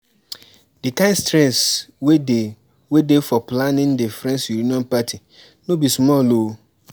di kind stress wey dey wey dey for planning the friends reuion party no be small o